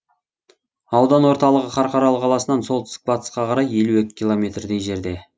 аудан орталығы қарқаралы қаласынан солтүстік батысқа қарай елу екі километрдей жерде